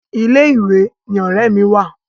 Ilé ìwé ni ọ̀rẹ́ mi wà.